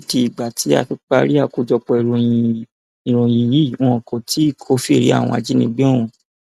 títí di ìgbà tá a fi parí àkójọpọ ìròyìn yìí wọn kò tí ì kófìrí àwọn ajínigbé ọhún